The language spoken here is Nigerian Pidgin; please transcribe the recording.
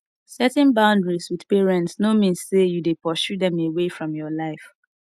setting boundaries with parents no mean say you de pursue dem away from your life